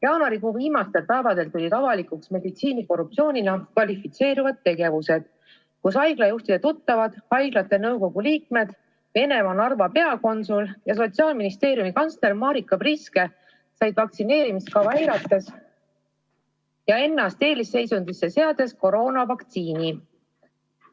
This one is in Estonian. Jaanuarikuu viimastel päevadel tulid avalikuks meditsiinikorruptsioonina kvalifitseeruvad tegevused: haiglajuhtide tuttavad, haiglate nõukogude liikmed, Venemaa Narva peakonsul ja Sotsiaalministeeriumi kantsler Marika Priske said vaktsineerimiskava eirates ja ennast eelisseisundisse seades koroonavaktsiini.